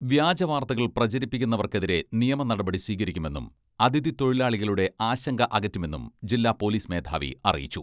വ്യാജവാർത്തകൾ പ്രചരിപ്പിക്കുന്നവർക്കെതിരെ നിയമനടപടി സ്വീകരിക്കുമെന്നും അഥിതി തൊഴിലാളികളുടെ ആശങ്ക അകറ്റുമെന്നും ജില്ലാ പോലിസ് മേധാവി അറിയിച്ചു.